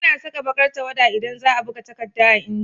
Ana Saka bakar tawwada idan zaa buga takadda a inji